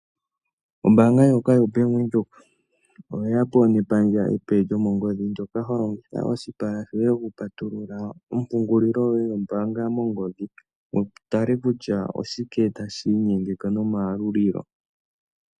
Ombaanga ndjoka yobank Windhoek oyeya po nepandja epe lyomongodhi ndjoka ho longitha oshipala shoye okupatulula ompungulilo yoye yombaanga mongodhi wu tale kutya oshike tashi inyengele nomayalulilo.